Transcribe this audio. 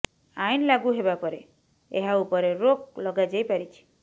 ଆଇନ ଲାଗୁ ହେବା ପରେ ଏହା ଉପରେ ରୋକ୍ ଲଗାଯାଇପାରିଛି